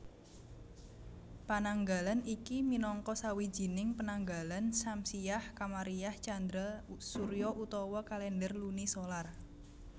Pananggalan iki minangka sawijining penanggalan syamsiah kamariah candra surya utawa kalèndher luni solar